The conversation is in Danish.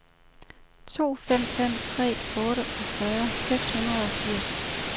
to fem fem tre otteogfyrre seks hundrede og firs